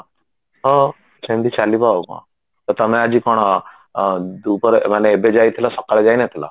ହଁ ସେମଟି ଚାଲିବ ଆଉ କଣ ତ ତମେ ଆଜି କଣ ଦୂପରେ ମାନେ ଏବେ ଯାଇଥିଲ ସକାଳେ ଯାଇନଥିଲା